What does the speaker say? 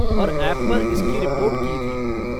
और ऐप पर इसकी रिपोर्ट की थी।